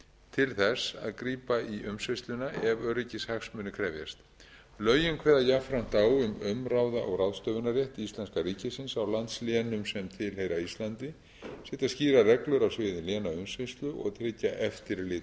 til að grípa inn í umsýsluna ef öryggishagsmunir krefjast lögin kveða jafnframt á um umráða og ráðstöfunarrétt íslenska ríkisins á landslénum sem tilheyra íslandi setja skýrar reglur á sviði lénaumsýslu og tryggja eftirlit